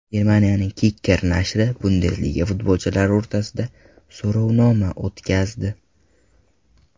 Germaniyaning Kicker nashri Bundesliga futbolchilari o‘rtasida so‘rovnoma o‘tkazdi .